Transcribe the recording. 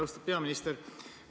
Austatud peaminister!